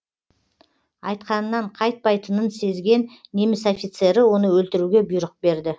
айтқанынан қайтпайтынын сезген неміс офицері оны өлтіруге бұйрық берді